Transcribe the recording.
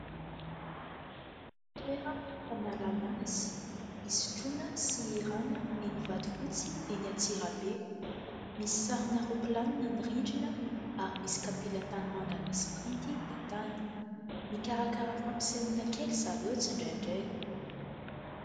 Toerana fanalana azy, hisotroana sy hihirana eny Vatofotsy eny Antsirabe. Misy sarina ropilanina ny rindrina, ary misy kapila tany manga misy printy ny tany. Mikarakara fampisehoana kely zareo tsy indrandray.